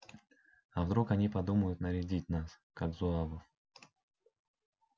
а вдруг они подумают нарядить нас как зуавов